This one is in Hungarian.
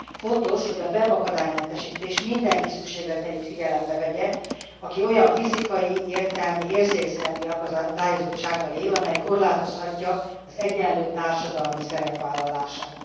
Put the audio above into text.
Fontos, hogy a web akadálymentesítés mindenki szükségleteit figyelembe vegye, aki olyan fizikai, értelmi, érzékszervi akadályozottsággal él, amely korlátozhatja az egyenlő társadalmi szerepvállalását.